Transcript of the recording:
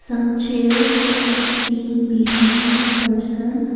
some chairs can be seen behind the person.